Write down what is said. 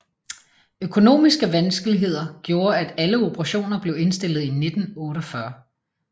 Økonomiske vanskeligheder gjorde at alle operationer blev indstillet i 1948